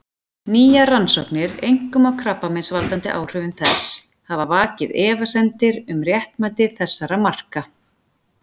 Nýjar rannsóknir, einkum á krabbameinsvaldandi áhrifum þess, hafa vakið efasemdir um réttmæti þessara marka.